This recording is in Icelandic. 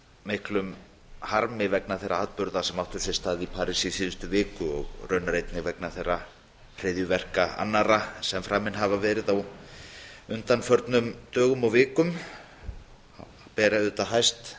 miklum harmi vegna þeirra atburða sem áttu sér stað í parís í síðustu viku og raunar einnig vegna þeirra hryðjuverka annarra sem framin hafa verið á undanförnum dögum og vikum og ber auðvitað hæst